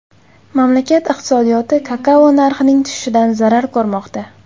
Mamlakat iqtisodiyoti kakao narxining tushishidan zarar ko‘rmoqda.